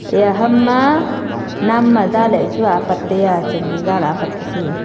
eiya ham ma nam aiza lachu apat lay taiyeh chamdi zalai apat taisi.